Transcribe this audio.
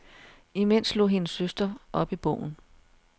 Imens slog hendes søster op i bogen.